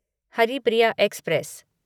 Haripriya express